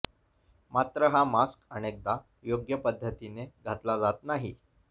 मात्र हा मास्क अनेकदा योग्य पद्धतीने घातला जात नाही